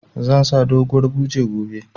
Zan sa doguwar buje gobe